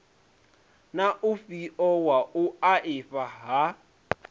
na ufhio wa vhuaifa ha